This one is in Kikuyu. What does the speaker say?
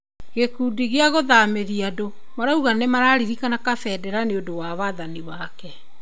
Gĩkundi kĩa kũthamĩria andu marauga nĩmarariria Kabendera nĩũndũ wa wathani wake